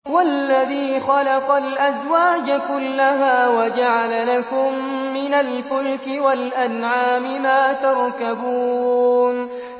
وَالَّذِي خَلَقَ الْأَزْوَاجَ كُلَّهَا وَجَعَلَ لَكُم مِّنَ الْفُلْكِ وَالْأَنْعَامِ مَا تَرْكَبُونَ